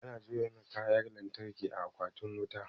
Ana jona Kayan lantarki a akwatin wuta